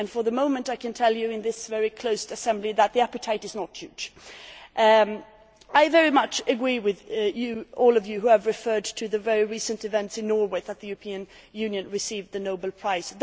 For the moment, I can tell you in this very closed assembly, that the appetite is not huge. I very much agree with all of you who have referred to the very recent events in Norway, when the European Union received the Nobel Prize.